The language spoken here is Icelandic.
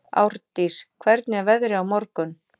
Árndís, hvernig er veðrið á morgun?